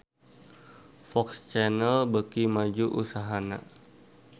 FOX Channel beuki maju usahana